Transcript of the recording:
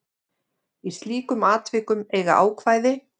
Í slíkum tilvikum eiga ákvæði